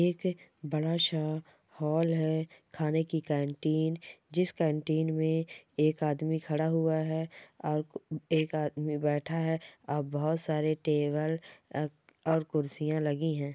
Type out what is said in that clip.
एक बड़ा-सा हाल है| खाने की कैंटीन जिस कैंटीन में एक आदमी खड़ा हुआ है और एक आदमी बैठा है और बहुत सारे टेबल अ और कुर्सियां लगी है।